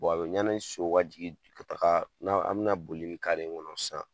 a bɛ yanni so ka jigin ka taga , n'an an bɛna boli ni kare in kɔnɔ sisan